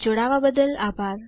જોડવા બદલ આભાર